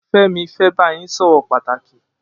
Femi fè bà gbógbó yin sọrọ pàtáki